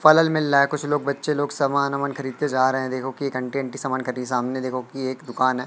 College मे लाये कुछ लोग बच्चे लोग सामान ओमान खरीद के जा रहे है देखो कि एक आंटी आंटी सामान खड़ी सामने देखो कि एक दुकान है।